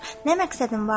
Nə məqsədim vardır?